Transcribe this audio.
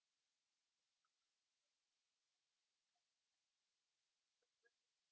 तुमचा contact number number तुम्ही परत एकदा सांगाल का? म्हणजे काय होईल?